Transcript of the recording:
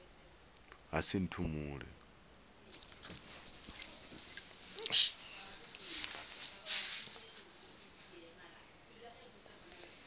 hasinthumule